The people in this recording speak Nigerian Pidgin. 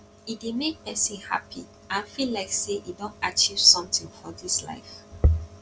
e dey make persin happy and feel like say e don achieve something for this life